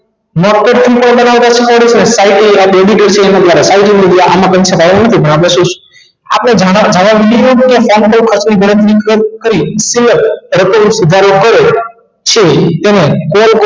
આપણે છે તેને